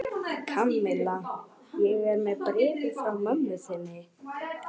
Kamilla, ég er með bréfið frá mömmu þinni.